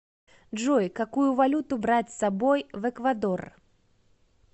джой какую валюту брать с собой в эквадор